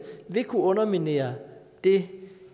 vil kunne underminere det